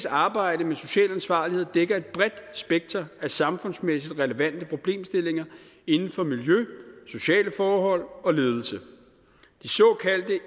arbejde med social ansvarlighed dækker et bredt spekter af samfundsmæssigt relevante problemstillinger inden for miljø sociale forhold og ledelse de såkaldte